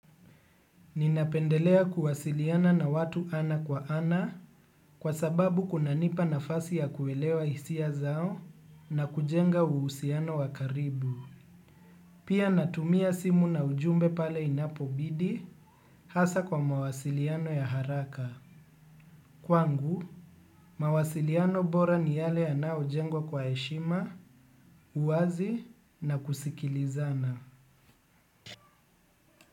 Ninapendelea kuwasiliana na watu ana kwa ana kwa sababu kunanipa nafasi ya kuelewa hisia zao na kujenga uhusiano wa karibu. Pia natumia simu na ujumbe pale inapobidi hasa kwa mawasiliano ya haraka. Kwangu, mawasiliano bora ni yale yanaojengwa kwa heshima, uwazi na kusikilizana.